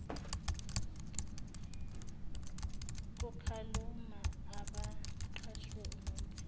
kukhalamu yabaqashwe unomphelo